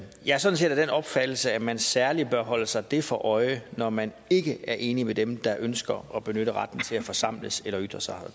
jeg er sådan set af den opfattelse at man særlig bør holde sig det for øje når man ikke er enig med dem der ønsker at benytte retten til at forsamles eller ytre sig og